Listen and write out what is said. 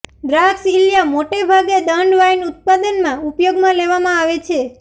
દ્રાક્ષ ઇલ્યા મોટે ભાગે દંડ વાઇન ઉત્પાદનમાં ઉપયોગમાં લેવામાં આવે છે